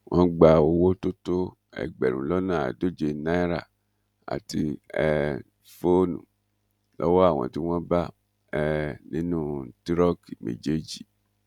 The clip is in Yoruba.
wọn gba owó tó tó ẹgbẹrún lọnà àádóje náírà àti um fóònù lọwọ àwọn tí wọn bá um nínú tìróòkì méjèèjì